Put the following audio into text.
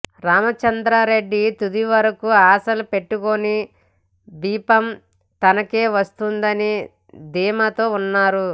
రాంచంద్రారెడ్డి తుది వరకు ఆశలు పెట్టుకొని బిఫాం తనకే వస్తుందని ధీమాతో ఉన్నారు